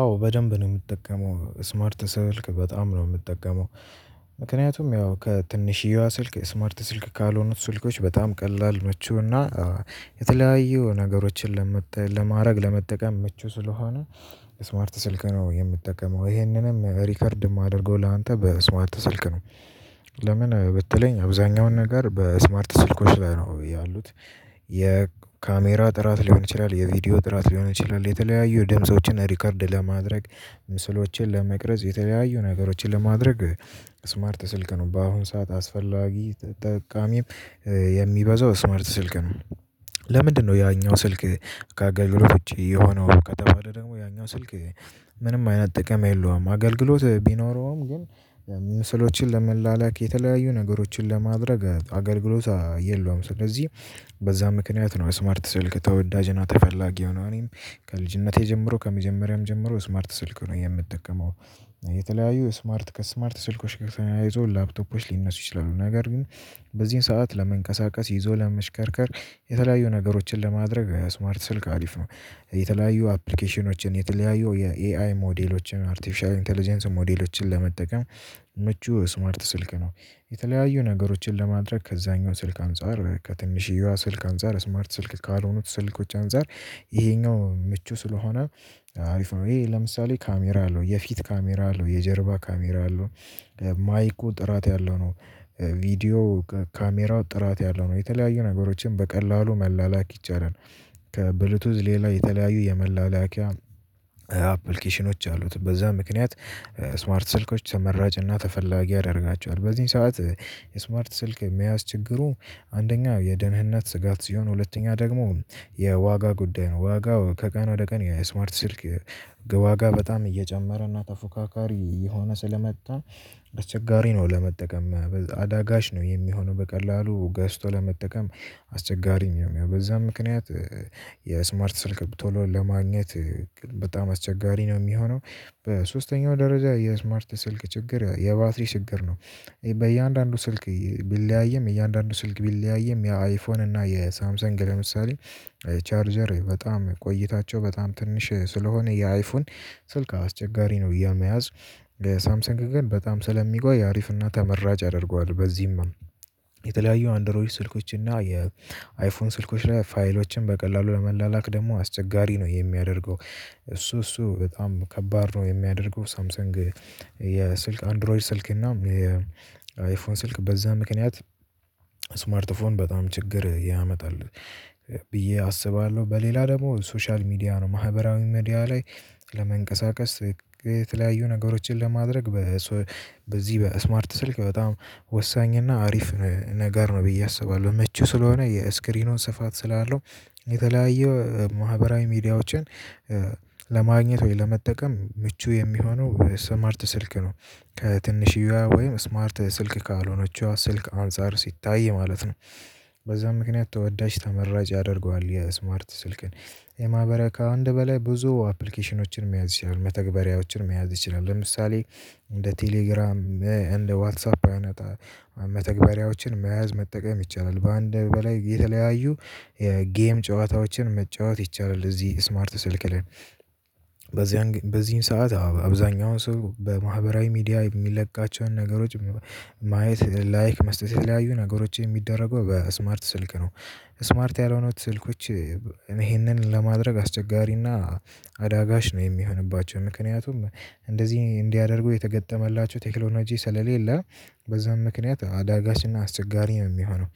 አዎ በደንብ ነው የምጠቀመው ስማርት ስልክ በጣም ነው የምጠቀመው። ምክንያቱም ያው ከትንሽዬዋ ስልክ ስማርት ስልክ ካልሆኑት ስልኮች በጣም ቀላል ምቹና የተለያዩ ነገሮችን ለመጣ ለማድረግ ለመጠቀም ምቹ ስለሆነ ስማርት ስልክ ነው የምጠቀመው ይሄንንም ሪከርድ የማደርገው ላንተ በስማርተ ስልክ ነው። ለምን? በትለይኝ አብዛኛውን ነገር በስማርት ስልኮች ላይ ነው ያሉት የካሜራ ጥራት ሊሆን ይችላል የቪዲዮ ጥራት ሊሆን ይችላል የተለያዩ ድምፆችን ሪከርድ ለማድረግ ምስሎችን ለመቅረጽ የተለያዩ ነገሮችን ለማድረግ ስማርት ስልክ ነው በአሁን ሰዓት አስፈላጊ ጠቃሚም የሚበዛው ስምርት ስልክ ነው። ለምንድነው? ያኛው ስልክ ከአገልግሎት ልጆች የሆነው ከተባለ ደግሞ ያኛው ስልክ ምንም አይነት ጥቅም የለውም አገልግሎት ቢኖረውም ግን። ምስሎችን ለመላላክ የተለያዩ ነገሮችን ለማድረግ አገልግሎት የለውም ስለዚህ። በዛ ምክንያት ነው ስማርት ስልክ ተወዳጅ እና ተፈላጊ ሆኖ እኔም ከልጅነቴ ጀምሮ ከመጀመሪያም ጀምሮ ስማርት ስልክ ነው የምጠቀመው። የተለያዩ ስማርት ከስማርት ስልኮች ተያይዞ ላፕቶፖች ሊነሱ ይችላሉ ነገር ግን። በዚህን ሰዓት ለመንቀሳቀስ ይዞ ለመሽከርከር የተለያዩ ነገሮችን ለማድረግ ስማርት ስልክ አሪፍ ነው። የተለያዩ አፕሊኬሽኖችን የተለያዩ የኤአይ ሞዴሎችን አርቲፊሻል ኢንተለጀንስ ሞዴሎችን ለመጠቀም ምቹ ስማርት ስልክ ነው። የተለያዩ ነገሮችን ለማድረግ ከዛኛው ስልክ አንፃር ከትንሽዬዋ ስልክ አንፃር ስማርት ስልክ ካልሆኑት ስልኮች አንፃር። ይሄኛው ምቹ ስለሆነ አሪፍ ነው ይሄ ለምሳሌ ካሜራ አለው የፊት ካሜራ አለው የጀርባ ካሜራ አለው። ማይኩ ጥራት ያለው ነው። ቪዲዮ ካሜራው ጥራት ያለው ነው የተለያዩ ነገሮችን በቀላሉ መላላኪ ይቻላል። ከብሉቱዝ ሌላ የተለያዩ የመላላኪያ አፕሊኬሽኖች አሉት በዛ ምክንያት ስማርት ስልኮች ተመራጭና ተፈላጊ ያደርጋቸዋል በዚህን ሰዓት። የስማርት ስልክ መያዝ ችግሩ አንደኛ የደህንነት ስጋት ሲሆን ሁለተኛ ደግሞ የዋጋ ጉዳይ ነው። ዋጋው ከቀን ወደ ቀን የስማርት ስልክ ዋጋ በጣም እየጨመረ እና ተፎካካሪ እየሆነ ስለመጣ። አስቸጋሪ ነው ለመጠቀም አዳጋሽ ነው የሚሆነው በቀላሉ ገዝቶ ለመጠቀም። አስቸጋሪም ያው በዛ ምክንያት። የስማርት ስልክ ቶሎ ለማግኘት በጣም አስቸጋሪ ነው የሚሆነው። በሶስተኛው ደረጃ የስማርት ስልክ ችግር የባትሪ ችግር ነው። በእያንዳንዱ ስልክ ቢለያይም እያንዳንዱ ስልክ ቢለያይም የአይፎን እና የሳምሰንግ ለምሳሌ። ቻርጀር በጣም ቆይታቸው በጣም ትንሽ ስለሆነ የአይፎን ስልክ አስቸጋሪ ነው የመያዝ። ሳምሰንግ ግን በጣም ስለሚቆይ አሪፍና ተመራጭ ያደርገዋል በዚህም። የተለያዩ አንድሮይድ ስልኮች እና የ አይፎን ስልኮች ላይ ፋይሎችን በቀላሉ ለመላላክ ደግሞ አስቸጋሪ ነው የሚያደርገው። እሱ እሱ በጣም ከባድ ነው የሚያደርገው ሳምሰንግ። የስልክ አንድሮይድ ስልክ እና የአይፎን ስልክ በዛ ምክንያት። ስማርት ፎን በጣም ችግር ያመጣል። ብዬ አስባለሁ በሌላ ደግሞ ሶሻል ሚዲያ ነው ማህበራዊ ሚዲያ ላይ። ለመንቀሳቀስ የተለያዩ ነገሮችን ለማድረግ። በዚህ በስማርት ስልክ በጣም ወሳኝ እና አሪፍ ነገር ነው ብዬ አስባለሁ ምቹ ስለሆነ የስክሪኑ ስፋት ስላለው። የተለያየ ማህበራዊ ሚዲያዎችን። ለማግኘት ወይ ለመጠቀም ምቹ የሚሆነው ስማርት ስልክ ነው። ከትንሽዬ ወይም ስማርት ስልክ ካልሆነችው ስልክ አንፃር ሲታይ ማለት ነው። በዛ ምክንያት ተወዳጅ ተመራጭ ያደርገዋል የስማርት ስልክን። የማበረካ አንድ በላይ ብዙ አፕሊኬሽኖችን መያዝ ይችላል መተግበሪያዎችን መያዝ ይችላል። ለምሳሌ እንደ ቴሌግራም እንደ ዋትሳፕ አይነት መተግበሪያዎችን መያዝ መጠቀም ይቻላል። በአንድ በላይ የተለያዩ ጌም ጨዋታዎችን መጫወት ይቻላል እዚህ ስማርት ስልክ ላይ። በዚህን ሰዓት አብዛኛውን ሰው በማህበራዊ ሚዲያ የሚለቃቸውን ነገሮች ማየት ላይክ መስጠት የተለያዩ ነገሮች የሚደረገው በስማርት ስልክ ነው። ስማርት ያልሆኑት ስልኮች። እኔ ይሄንን ለማድረግ አስቸጋሪና አዳጋች ነው የሚሆንባቸው። ምክንያቱም እንደዚህ እንዲያደርጉ የተገጠመላቸው ቴክኖሎጂ ስለሌለ በዛም ምክንያት አዳጋችና አስቸጋሪም ነው የሚሆነው።